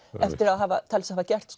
að hafa talið sig hafa gert